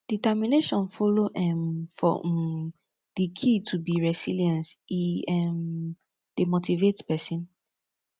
determination follow um for um di key to be resilience e um dey motivate pesin